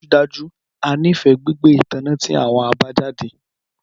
Dájúdájú! A nifẹ gbigbe itanna ti awọn abajade